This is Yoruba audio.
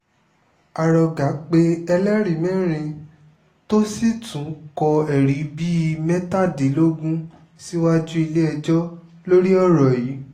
arọgà pe ẹlẹ́rìí mẹ́rin tó sì tún kọ́ ẹ̀rí bíi mẹ́tàdínlógún síwájú ilé-ẹjọ́ lórí ọ̀rọ̀ yìí